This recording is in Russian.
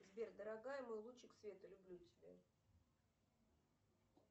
сбер дорогая мой лучик света люблю тебя